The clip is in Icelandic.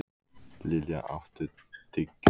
Lilja, áttu tyggjó?